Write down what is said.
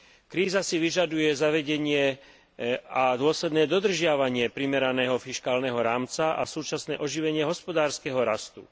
Kríza si vyžaduje zavedenie a dôsledné dodržiavanie primeraného fiškálneho rámca a súčasné oživenie hospodárskeho rastu.